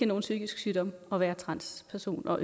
nogen psykisk sygdom at være transperson og